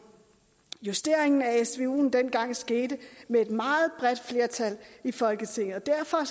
justeringen af svuen dengang skete med et meget bredt flertal i folketinget derfor